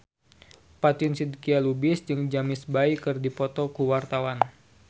Fatin Shidqia Lubis jeung James Bay keur dipoto ku wartawan